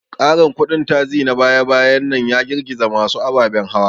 Ƙarin kudin taxi na baya-bayan nan ya girgiza masu ababen hawa.